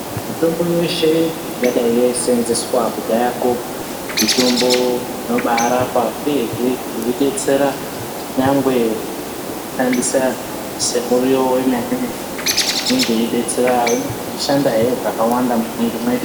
Mitombo yeshe, ingadai yeiseenzeswa kudhayako, mitombo inobaarapa ,uyehe yeidetsera nyangwe kushandisa semuriwo wemene-mene. Inenge yeidetsera yeishandahe zvakawanda mumwiiri mwedu.